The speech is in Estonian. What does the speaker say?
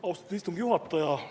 Austatud istungi juhataja!